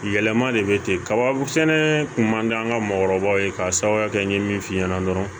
Yɛlɛma de bɛ ten kaba sɛnɛ kun man d'an ka maakɔrɔbaw ye k'a sababuya kɛ n ye min f'i ɲɛna dɔrɔn